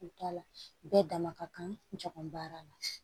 U t'a la bɛɛ dama ka kan jago baara la